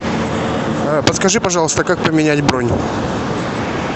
подскажи пожалуйста как поменять бронь